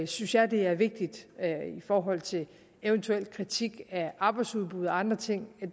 synes jeg at det er vigtigt i forhold til en eventuel kritik af arbejdsudbud og andre ting